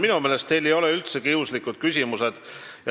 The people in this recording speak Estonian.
Minu meelest ei ole teil üldse kiuslikud küsimused.